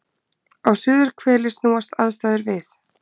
Á suðurhveli snúast aðstæður við.